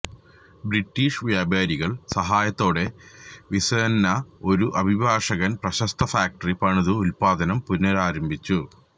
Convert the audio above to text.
British വ്യാപാരികൾ സഹായത്തോടെ Vicenza ഒരു അഭിഭാഷകൻ പ്രശസ്ത ഫാക്ടറി പണിതു ഉത്പാദനം പുനരാരംഭിച്ചു